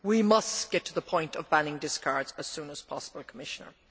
We must get to the point of banning discards as soon as possible, Commissioner.